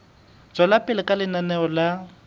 tswela pele ka lenaneo la